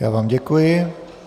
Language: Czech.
Já vám děkuji.